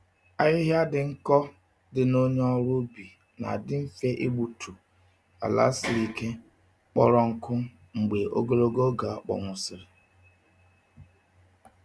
Ahịhịa dị nkọ dị na onye ọrụ ubi na-adị mfe igbutu um ala siri ike, kpọrọ nkụ mgbe ogologo oge akpọnwụsịrị.